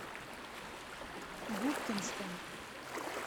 губкинском